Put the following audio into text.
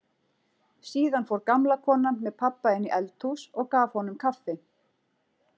Síðan fór gamla konan með pabba inn í eldhús og gaf honum kaffi.